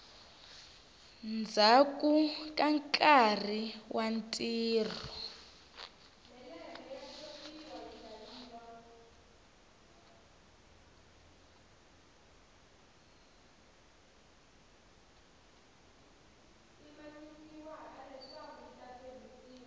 ndzhaku ka nkarhi wa ntirho